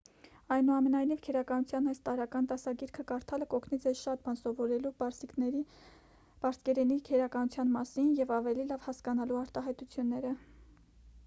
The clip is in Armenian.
այնուամենայնիվ քերականության այս տարրական դասագիրքը կարդալը կօգնի ձեզ շատ բան սովորելու պարսկերենի քերականության մասին և ավելի լավ հասկանալու արտահայտությունները